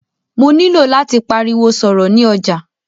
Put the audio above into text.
Mó nilò láti pariwo sọ̀rọ̀ ni ọjà.